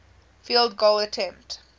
field goal attempt